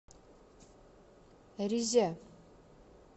резя